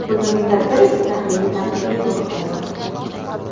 Bugungi tadbir esa tahliliy-tanqidiy ruhda bo‘ldi.